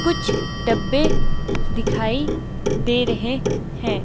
कुछ डब्बे दिखाई दे रहे हैं।